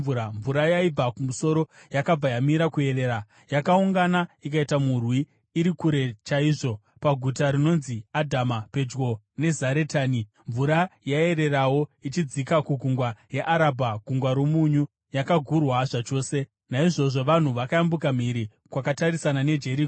mvura yaibva kumusoro yakabva yamira kuerera. Yakaungana ikaita murwi iri kure chaizvo, paguta rinonzi Adhama pedyo neZaretani, mvura yaiererawo ichidzika kuGungwa reArabha (Gungwa roMunyu) yakagurwa zvachose. Naizvozvo vanhu vakayambuka mhiri kwakatarisana neJeriko.